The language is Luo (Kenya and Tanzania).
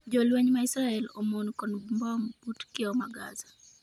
jolweny ma Israel omon kod mbom but kiewo ma Gaza